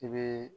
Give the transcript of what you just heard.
I bɛ